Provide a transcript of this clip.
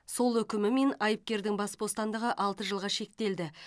сот үкімімен айыпкердің бас бостандығы алты жылға шектелді